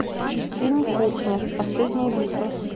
фильм кухня последняя битва